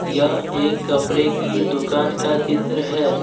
यह एक कपड़े की दुकान का चित्र है।